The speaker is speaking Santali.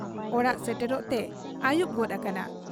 ᱚᱲᱟᱜ ᱥᱮᱴᱮᱨᱚᱜ ᱛᱮ ᱟᱹᱭᱩᱵ ᱜᱚᱫ ᱟᱠᱟᱱᱟ ᱾